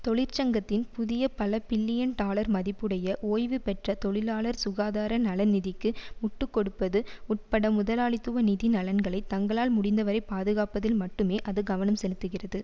தொழிற்சங்கத்தின் புதிய பல பில்லியன் டாலர் மதிப்புடைய ஓய்வு பெற்ற தொழிலாளர் சுகாதார நலநிதிக்கு முட்டு கொடுப்பது உட்பட முதலாளித்துவ நிதி நலன்களை தங்களால் முடிந்த வரை பாதுகாப்பதில் மட்டுமே அது கவனம் செலுத்துகிறது